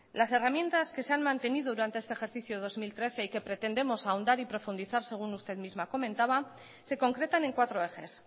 las herramientas que se han mantenido durante este ejercicio dos mil trece y que pretendemos ahondar y profundizar según usted misma comentaba se concretan en cuatro ejes